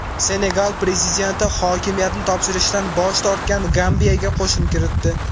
Senegal prezidenti hokimiyatni topshirishdan bosh tortgan Gambiyaga qo‘shin kiritdi.